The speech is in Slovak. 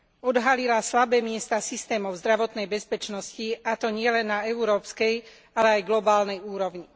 Odhalila slabé miesta systémov zdravotnej bezpečnosti, a to nielen na európskej, ale aj globálnej úrovni.